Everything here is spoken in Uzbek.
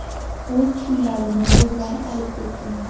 O‘z pullarini o‘zlari olib kelgan.